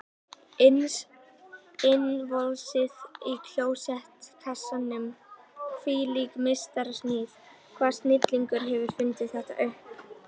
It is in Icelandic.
Innvolsið í klósettkassanum, hvílík meistarasmíð, hvaða snillingur hefur fundið þetta upp?